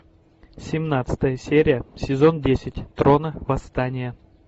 семнадцатая серия сезон десять трона восстание